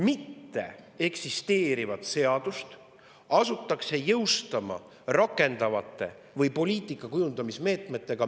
Mitteeksisteerivat seadust asutakse meie õigusruumis jõustama poliitika kujundamise meetmetega.